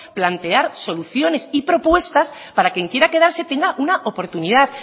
plantear soluciones y propuestas para que quien quiera quedarse tenga una oportunidad